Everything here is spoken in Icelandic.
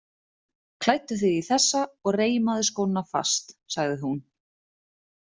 Klæddu þig í þessa og reimaðu skóna fast, sagði hún.